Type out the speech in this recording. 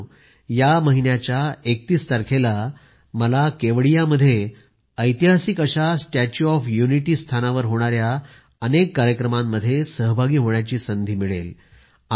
मित्रांनो या महिन्याच्या 31 तारखेला मला केवडियामध्ये ऐतिहासिक अशा स्टॅच्यू ऑफ युनिटी स्थानावर होणाऱ्या अनेक कार्यक्रमात सहभागी होण्याची संधी मिळेल